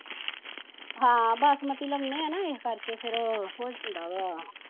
ਹਾਂ ਬਾਸਮਤੀ ਲਾਉਂਦੇ ਆ ਨਾ ਏਸ ਕਰਕੇ ਫੇਰ ਹੋ ਜਾਂਦਾ ਵਾਂ